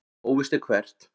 Óvíst er hvert.